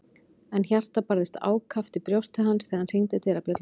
En hjartað barðist ákaft í brjósti hans þegar hann hringdi dyrabjöllunni.